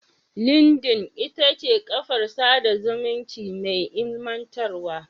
Lindin ita ce kafar sada zumunci mai ilimantarwa.